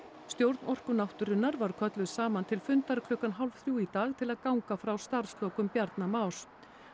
stjórn Orku náttúrunnar var kölluð saman til fundar klukkan hálf þrjú í dag til að ganga frá starfslokum Bjarna Más